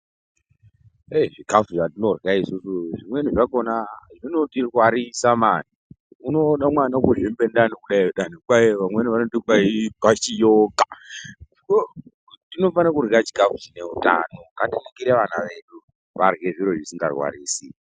Zvikafu zvatinorya isusu ,zvimweni zvakona zvinotirwarisa mani. Unoona mwana ngezvikuhlani kudai vamweni vanoti ikwashioka .Ngatiningire ana edu varye zvikafu zvisikarwarisi.